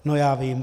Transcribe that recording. No, já vím.